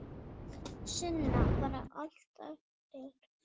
Sunna: Bara allt eftir?